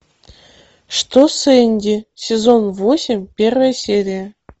что с энди сезон восемь первая серия